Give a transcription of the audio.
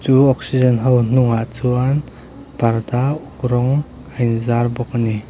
chu oxygen ho hnungah chuan parda uk rawng a inzar bawk a ni.